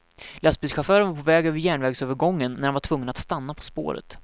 Lastbilschauffören var på väg över järnvägsövergången, när han var tvungen att stanna på spåret.